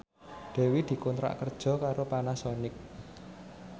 Dewi dikontrak kerja karo Panasonic